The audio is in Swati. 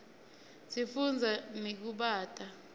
sifunza nekubata